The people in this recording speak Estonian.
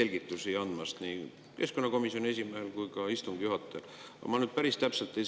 Aitäh kõigepealt nii keskkonnakomisjoni esimehele kui ka istungi juhatajale selgitusi andmast!